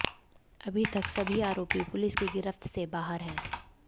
अभी तक सभी आरोपी पुलिस की गिरफ्त से बाहर है